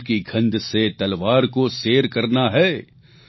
ફૂલ કી ગંધ સે તલવાર કો સેર કરના હે